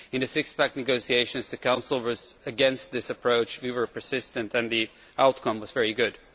In the six pack negotiations, the Council was against this approach we were persistent and the outcome was very good.